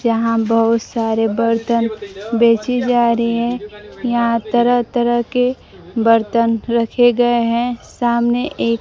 यहां बहुत सारे बर्तन बेची जा रही है यहां तरह-तरह के बर्तन रखे गए हैं सामने एक --